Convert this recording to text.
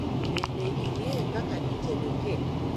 Bende ing'eyo kaka itedo kek?